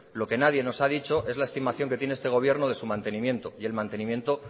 lo que nadie nos ha dicho es la estimación que tiene este gobierno de su mantenimiento y el mantenimiento